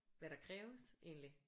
Hvad der kræves egentlig